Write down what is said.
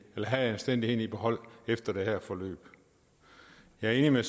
have anstændigheden i behold efter det her forløb jeg er enig med